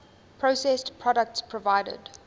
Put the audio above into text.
processed products provided